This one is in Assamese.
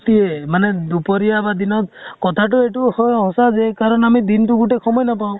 ৰাতি মানে দুপৰিয়া বা দিনত কথাটো এইটো হয় সঁচা যে আমি দিনতো গোটেই সময় নাপাওঁ।